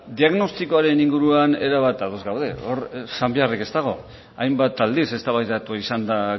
diagnostikoaren inguruan erabat ados gaude hor esan beharrik ez dago hainbat aldiz eztabaidatua izan da